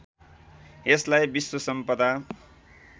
यसलाई विश्व सम्पदा